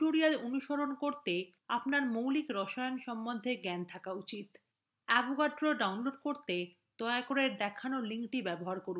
এই tutorial অনুসরণ করতে আপনার মৌলিক রসায়ন সম্বন্ধে জ্ঞান থাকা উচিত